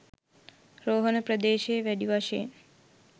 රෝහණ ප්‍රදේශයේ වැඩි වශයෙන්